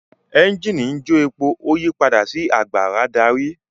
Ẹ́ńjìnì njo èpo o yí pàdà sí àgbàrá darí.